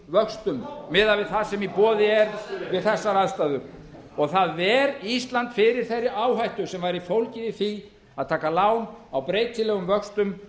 vöxtum miðað við það sem í boði er við þessar aðstæður og það ver ísland fyrir þeirri áhættu sem væri fólgið í því að taka lán á breytilegum vöxtum